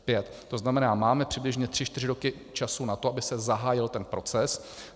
To znamená, máme přibližně tři čtyři roky času na to, aby se zahájil ten proces.